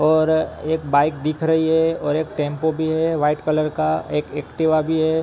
और एक बाइक दिख रही है और एक टेंपो भी है। वाइट कलर का एक एक्टिवा भी है।